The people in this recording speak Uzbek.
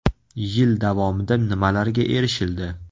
Yil davomida nimalarga erishildi?